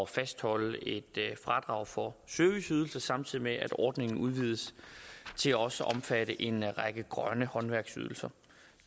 fastholde et fradrag for serviceydelser samtidig med at ordningen udvides til også at omfatte en række grønne håndværksydelser